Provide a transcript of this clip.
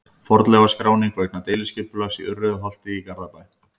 Fornleifaskráning vegna deiliskipulags á Urriðaholti í Garðabæ.